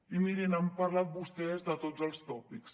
i mirin han parlat vostès de tots els tòpics